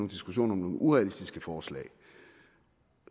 diskussioner om nogle urealistiske forslag